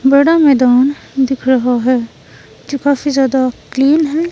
बड़ा मैदान दिख रहा है जो काफी ज्यादा क्लीन है।